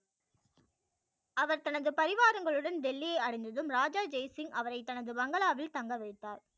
அவர் தனது பரிவாரங்களுடன் டெல்லி யை அடைந்ததும் ராஜா ஜெய் சிங் அவரை தனது பங்களாவில் தங்க வைத்தார்